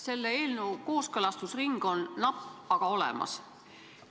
Selle eelnõu kooskõlastusring on olnud napp, aga see on olemas.